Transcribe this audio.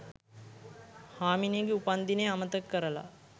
හාමිනේගෙ උපන්දිනේ අමතක කරලා